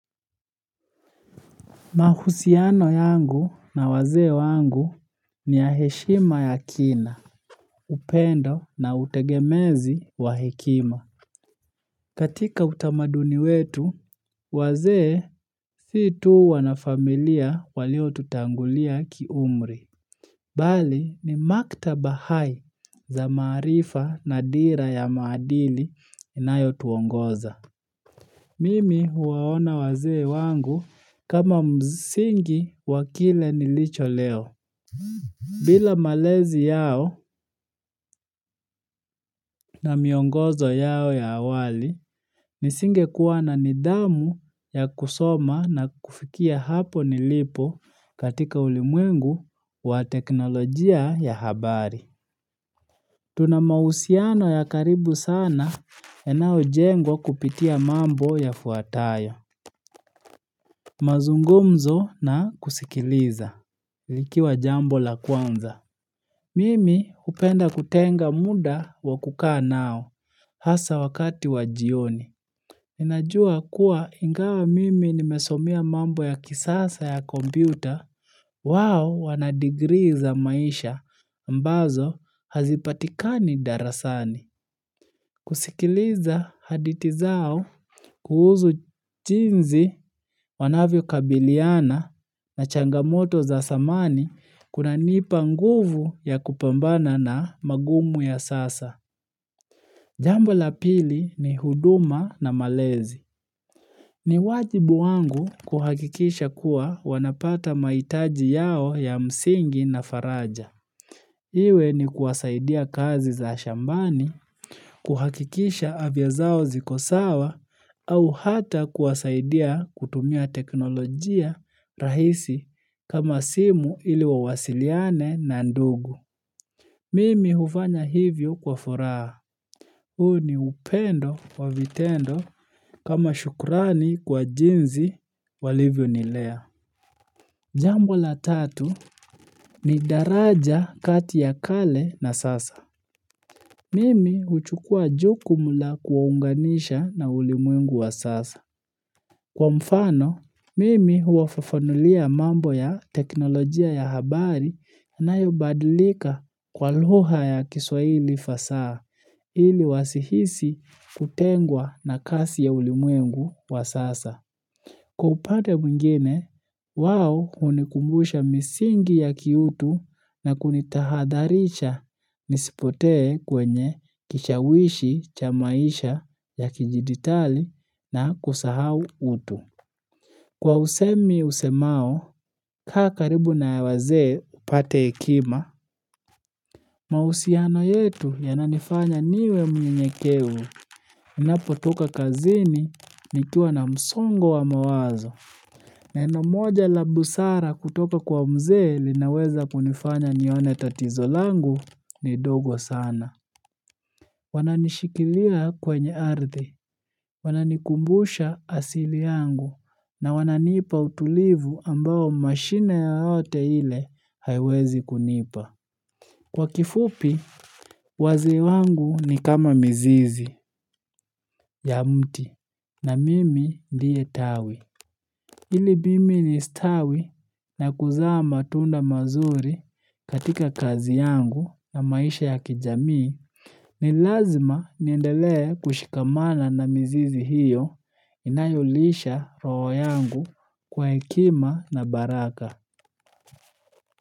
Mahusiano yangu na wazee wangu ni ya heshima ya kina, upendo na utegemezi wa hekima. Katika utamaduni wetu, wazee si tu wanafamilia waliotutangulia ki umri. Bali ni maktaba hai za maarifa na dira ya maadili inayotuongoza. Mimi huwaona wazee wangu kama msingi wa kile nilicho leo. Bila malezi yao na miongozo yao ya awali, nisingekuwa na nidhamu ya kusoma na kufikia hapo nilipo katika ulimwengu wa teknolojia ya habari. Tuna mahusiano ya karibu sana yanayojengwa kupitia mambo yafuatayo. Mazungumzo na kusikiliza. Likiwa jambo la kwanza. Mimi hupenda kutenga muda wakukaa nao, hasa wakati wa jioni. Ninajua kuwa ingawa mimi nimesomea mambo ya kisasa ya kompyuta, wao wanadigrii za maisha, ambazo hazipatikani darasani. Kusikiliza hadithi zao kuhusu jinsi wanavyokabiliana na changamoto za zamani kunanipa nguvu ya kupambana na magumu ya sasa. Jambo la pili ni huduma na malezi. Ni wajibu wangu kuhakikisha kuwa wanapata mahitaji yao ya msingi na faraja. Iwe ni kuwasaidia kazi za shambani, kuhakikisha afya zao ziko sawa, au hata kuwasaidia kutumia teknolojia rahisi kama simu ili wa wasiliane na ndugu. Mimi hufanya hivyo kwa furaha. Huu ni upendo wa vitendo kama shukrani kwa jinsi walivyonilea. Jambo la tatu ni daraja kati ya kale na sasa. Mimi huchukua jukumu la kuwaunganisha na ulimwengu wa sasa. Kwa mfano, mimi huwafafanulia mambo ya teknolojia ya habari na inayobadilika kwa lugha ya kiswahili fasaha, ili wasihisi kutengwa na kasi ya ulimwengu wa sasa. Kwa upande mwingine, wao hunikumbusha misingi ya kiutu na kunitahadharisha nisipotee kwenye kishawishi cha maisha ya kijidigitali na kusahau utu. Kwa usemi usemao, kaa karibu na wazee upate hekima, mahusiano yetu yananifanya niwe mnyenyekevu ninapotoka kazini nikiwa na msongo wa mawazo. Neno moja la busara kutoka kwa mzee linaweza kunifanya nione tatizo langu ni dogo sana. Wananishikilia kwenye ardhi wananikumbusha asili yangu na wananipa utulivu ambao mashine yoyote ile haiwezi kunipa. Kwa kifupi, wazee wangu ni kama mizizi ya mti, na mimi ndiye tawi. Ili mimi nistawi na kuzaa matunda mazuri katika kazi yangu na maisha ya kijamii ni lazima niendelee kushikamana na mizizi hiyo inayolisha roho yangu kwa hekima na baraka.